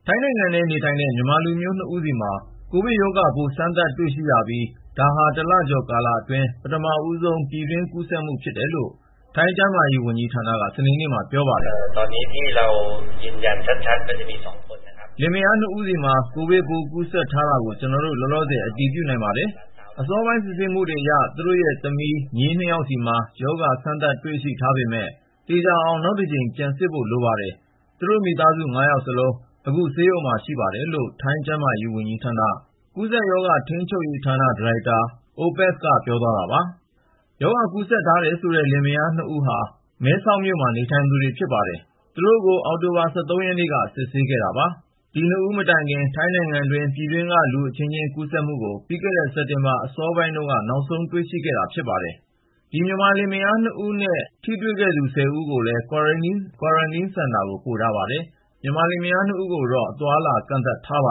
ိုင်းနိုင်ငံထဲနေထိုင်တဲ့ မြန်မာလူမျိုး ၂ ဦးဆီမှာ ကိုဗစ်ရောဂါပိုး စမ်းသပ်တွေ့ရှိရပြီး ဒါဟာ တလကျော်အတွင်း ပထမဆုံး ပြည်တွင်းကူးစက်မှု ဖြစ်တယ်လို့ ထိုင်းကျန်းမာရေးဝန်ကြီးဌာန တာဝန်ရှိသူတွေက စနေနေ့မှာ ပြောပါတယ်။ “လင်မယား ၂ ယောက်ဆီမှာ ကိုဗစ်ပိုး ကူးစက်ထားတာကို ကျနော်တို့ လောလောဆယ် အတည်ပြုနိုင်ပါတယ်။ အစောပိုင်း စစ်ဆေးမှုအရ သူတို့ရဲ့သမီးနဲ့ မြေး ၂ ယောက်ဆီမှာ ရောဂါ စမ်းသပ်တွေ့ရှိထားပေမယ့် သေချာအောင် နောက်တကြိမ် ပြန်စစ်ဖို့ လိုပါတယ်။ သူတို့ မိသားစု ၅ ယောက်စလုံး အခု ဆေးရုံမှာပါ” လို့ ထိုင်းကျန်းမာရေးဝန်ကြီးဌာန ကူးစက်ရောဂါ ထိန်းချုပ်ရေးဌာနရဲ့ ဒါရိုက်တာ OPAS KARNKAWIN-PONG ပြောသွားတာ ဖြစ်ပါတယ်။ ရောဂါကူးစက်ထားတယ်ဆိုတဲ့ မြန်မာလင်မယား ၂ ဦးဟာ မြန်မာနိုင်ငံနယ်စပ် မဲဆောက်မြို့မှာ နေထိုင်သူတွေ ဖြစ်ပါတယ်။ သူတို့ကို အောက်တိုဘာ ၁၃ ရက်နေ့က ဆေးစစ်ခဲ့တာပါ။ သူတို့ဆီမှာ ကိုဗစ်ရောဂါ လက္ခဏာတွေ မပြပေမယ့် ဆေးစစ်ချက်အဖြေက Positive ဖြစ်ပါတယ်။ ဒီ ၂ ဦးမတိုင်ခင် ထိုင်းနိုင်ငံတွင်း ပြည်တွင်းက လူအချင်းချင်း ကူးစက်မှုကို ပြီးခဲ့တဲ့ စက်တင်ဘာ အစောပိုင်းမှာ နောက်ဆုံးတွေ့ခဲ့ရတာ ဖြစ်ပါတယ်။ မြန်မာလင်မယား ၂ ဦးကိုတော့ အသွားအလာ ကန့်သတ်ထားပ